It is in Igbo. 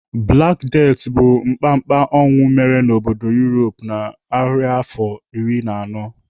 Black Death bụ mkpamkpa ọnwụ mere n'obodo Europe na narịafọ iri na anọ.